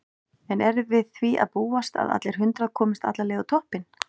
En er við því að búast að allir hundrað komist alla leið á toppinn?